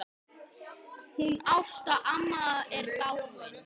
Hún Ásta amma er dáin.